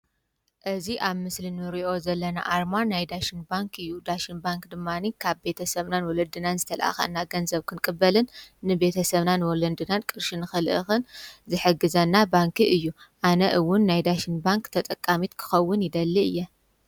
እዚ ኣብ ምስል ንርእዮ ዘለና ኣርማን ናይ ዳሽን ባንክ እዩ ። ዳሽን ባንክ ድማኒ ካብ ቤተሰብናን ወለድናን ዝተልኣኻና ገንዘብ ክንቅበልን ንቤተሰብናን ወለንድናን ቅርሽን ኽልእኽን ዝሕግዘና ባንኪ እዩ ኣነ'ውን ናይ ዳሽን ባንክ ተጠቃሚት ክኸውን ይደሊ እየ።